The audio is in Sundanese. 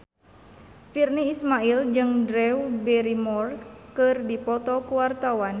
Virnie Ismail jeung Drew Barrymore keur dipoto ku wartawan